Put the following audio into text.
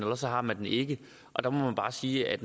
også har man den ikke og der må vi bare sige at